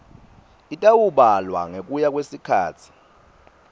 itawubalwa ngekuya kwesikhatsi